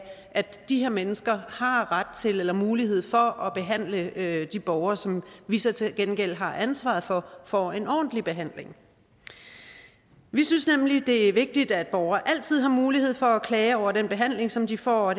de her mennesker har ret til eller mulighed for at de borgere som vi så til gengæld har ansvaret for får en ordentlig behandling vi synes nemlig det er vigtigt at borgere altid har mulighed for at klage over den behandling som de får